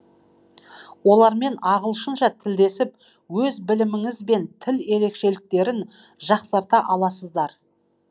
олармен ағылшынша тілдесіп өз біліміңіз бен тіл ерекшеліктерін жақсарта аласыздар